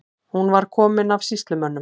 Hún var komin af sýslumönnum.